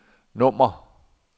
nummer